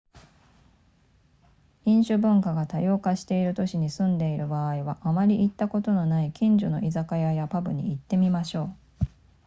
飲酒文化が多様化している都市に住んでいる場合はあまり行ったことのない近所の居酒屋やパブに行ってみましょう